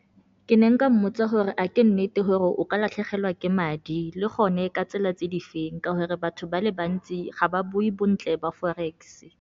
Ke ne nka mmotsa gore a ke nnete gore o ka latlhegelwa ke madi, le gone ka tsela tse di feng ka gore batho ba le bantsi ga ba bue bontle ba Forex-e.